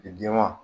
Jɛman